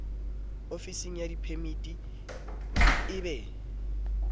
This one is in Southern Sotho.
ofisng ya diphemiti e be